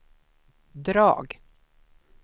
drag